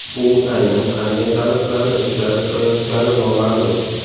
U aynan qanday talablarni ilgari surayotgani noma’lum.